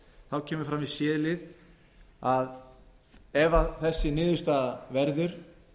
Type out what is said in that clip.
þá kemur fram í c lið að ef þessi niðurstaða verður